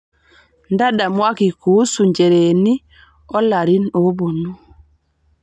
ntadamuaki kuusu ncheereni olarin oopuonu